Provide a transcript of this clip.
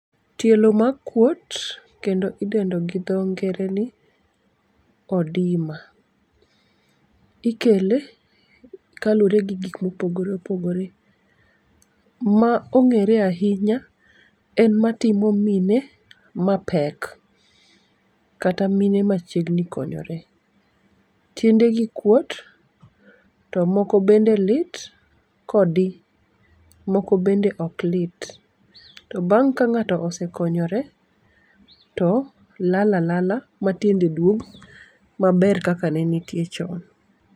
Tielo makuot kendo idendo gi dho ngere ni odema ikele kalure gi gikmopogore opogore. Ma ong'ere ahinya en matimo mine mapek, kata mine machiegni konyore. Tiendegi kuot, to moko bende lit kodi moko bende oklit, to bang' ka ng'ato osekonyore to lal alala matiende duog maber kaka nenitie chon.